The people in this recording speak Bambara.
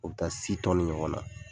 U bɛ ta ɲɔgɔn na